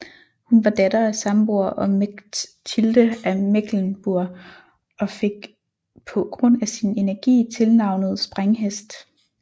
Hun var datter af Sambor og Mechtilde af Mecklenburg og fik på grund af sin energi tilnavnet Sprænghest